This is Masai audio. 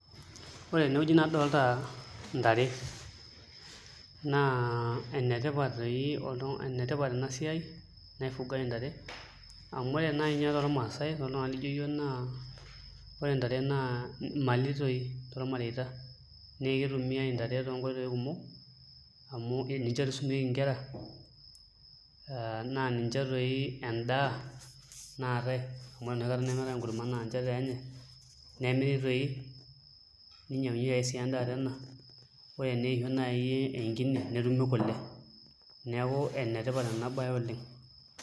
Ore tenewueji nadolita ntare naa enetipata ena siai naifugai ntare amu ore naai ninye tormaasai toltung'anak lijio iyiook naa ore ntare naa mali tooi tormareita naa kitumiai ntare toonkoitoi kumok amu ninche toi isumieki nkera aa naa ninche tooi endaa naatai amu ore enoshi kata meetai enkurma naa nche teenyaai nemiri toi ninyiang'unyieki sii endaa tena ore eneisho naa enkine netumi kule, neeku enetipat ena baye oleng'.